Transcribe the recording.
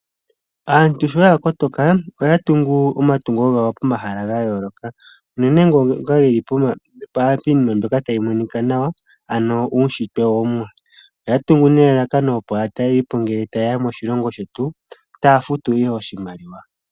Aantu shoya kotoka oya tungu omatungo gawo pomahala gayooloka uunene ngono geli piinima mbyoka tayi monika nawa ano uushitwe womumwa. Oya tungu nelalakano opo aatalelipo ngele tayeya moshilongo shetu taya futu ihe oshimaliwa.